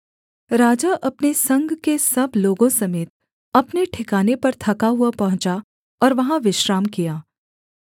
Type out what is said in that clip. राजा अपने संग के सब लोगों समेत अपने ठिकाने पर थका हुआ पहुँचा और वहाँ विश्राम किया